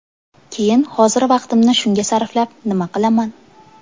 Keyin hozir vaqtimni shunga sarflab nima qilaman?